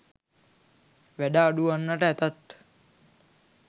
වැඩ අඩු වන්නට ඇතත්